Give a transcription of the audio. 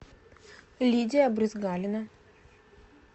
лидия брызгалина